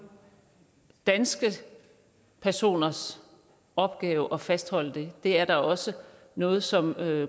danske personers opgave at fastholde det det er da også noget som